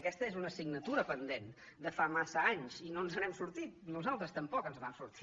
aquesta és una assignatura pendent de fa massa anys i no ens n’hem sortit nosaltres tampoc ens en vam sortir